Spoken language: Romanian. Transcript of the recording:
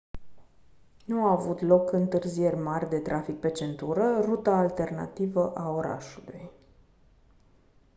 nu au avut loc întârzieri mari de trafic pe centură ruta alternativă a orașului